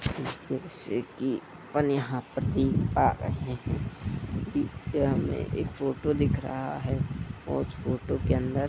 जिसपे से कि अपन यहाँ पर देख पा रहें हैं कि यह हमें एक फोटो दिख रहा है और फोटो के अंदर --